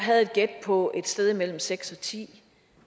havde et gæt på et sted imellem seks og ti